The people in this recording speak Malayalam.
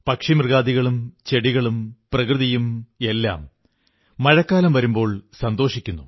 പക്ഷിമൃഗാദികളും ചെടികളും പ്രകൃതിയും എല്ലാം മഴക്കാലം വരുമ്പോൾ സന്തോഷിക്കുന്നു